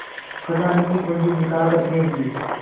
खजाने की कुन्जी निकाल कर फेंक दी